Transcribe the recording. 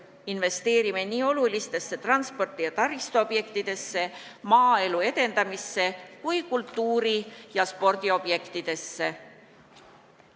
Investeerime nii olulistesse transpordi- ja taristuobjektidesse, maaelu edendamisse kui kultuuri- ja spordiobjektidesse.